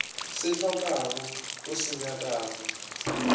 se hlokago o se nyakago